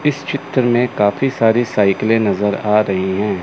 इस चित्र में काफी सारी साइकिले नजर आ रही हैं।